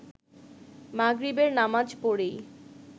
মাগরিবের নামাজ পড়েই